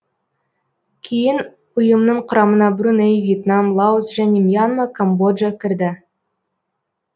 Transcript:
кейін ұйымның құрамына бруней вьетнам лаос және мьянма камбоджа кірді